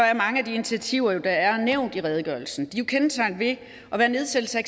er mange af de initiativer der er nævnt i redegørelsen jo kendetegnet ved at være nedsættelse af